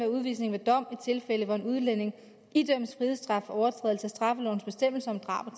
udvisning ved dom i tilfælde hvor en udlænding idømmes frihedsstraf for overtrædelse af straffelovens bestemmelser om drab og